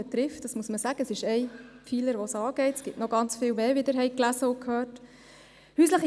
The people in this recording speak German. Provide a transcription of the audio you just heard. Sie ist ein Pfeiler der Konvention, es gibt noch ganz viel mehr, wie Sie gelesen und gehört haben.